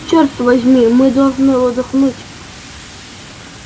чёрт возьми мы должны отдохнуть